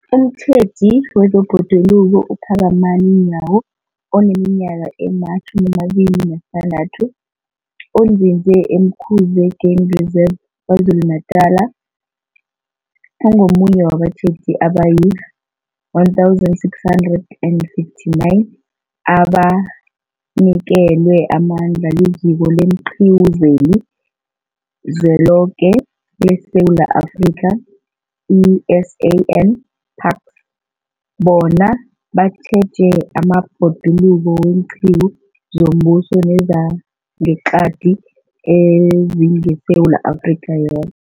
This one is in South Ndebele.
Umtjheji wezeBhoduluko uPhakamani Nyawo oneminyaka ema-26, onzinze e-Umkhuze Game Reserve KwaZulu-Natala, ungomunye wabatjheji abayi-1 659 abanikelwe amandla liZiko leenQiwu zeliZweloke leSewula Afrika, i-SANParks, bona batjheje amabhoduluko weenqiwu zombuso nezangeqadi ezingeSewula Afrika yoke.